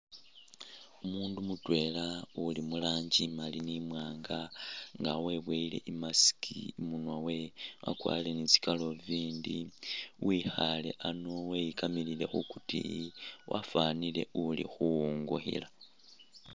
Umundu mutwela uli mulanji imali ni mwanga nga webowele i’mask imunwa we akwalile nitsi kaluvindi wikhale ano wekamilile khukutiyi wafwanile uli khuwungukhila .